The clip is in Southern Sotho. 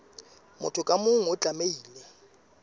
motho ka mong o tlamehile